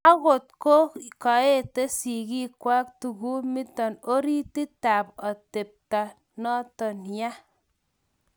akot ya koete sigiikwak, tugumito orititab atebto noto yaa